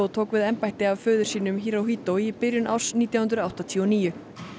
tók við embætti af föður sínum í byrjun árs nítján hundruð áttatíu og níu